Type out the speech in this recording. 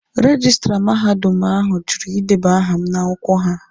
Rejistra mahadum ahụ jụrụ ideba aha m n'akwụkwọ ha